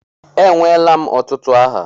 Enweela m ọtụtụ aha.